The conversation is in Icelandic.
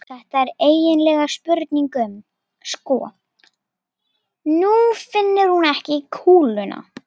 Þetta er eiginlega spurning um. sko, nú finnur hún ekki kúluna.